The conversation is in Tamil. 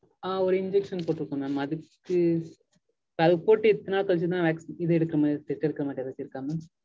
ஆஹ் ஒரு injection போட்டிருக்கேன் mam அதுக்கு அது போட்டு இத்தன நாள் கழிச்சுதா இது எடுக்கனும் test எடுக்கனும்னு எதாச்சும் இருக்கா mam.